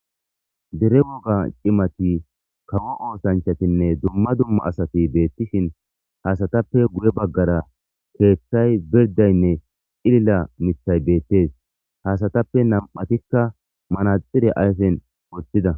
Dere woga ci,mati woyiko kawo osanchati duma duma asati betishin izappeka guye bagara kethayinne c,ilila mitha ha asatappe nam,atika manaxire ayifen wotida